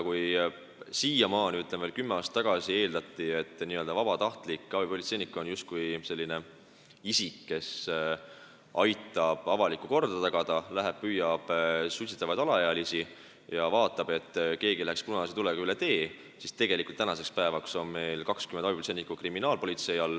Kui veel kümme aastat tagasi eeldati, et vabatahtlik abipolitseinik on selline isik, kes aitab avalikku korda tagada, püüab suitsetavaid alaealisi ja vaatab, et keegi ei läheks punase tulega üle tee, siis tänaseks päevaks on 20 abipolitseinikku abiks kriminaalpolitseis.